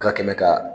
Ka kɛmɛ ka